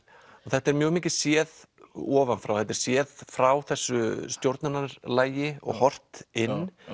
þetta er mjög mikið séð ofan frá þetta er séð frá þessu og horft inn